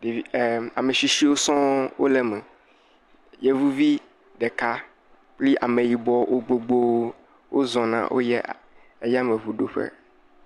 Ɖeviwo em ame tsitsiwo sɔ wole eme. Yevuvi ɖeka kple ameyibɔ wo gbogbo wozɔna woyie ayameŋuɖoƒe.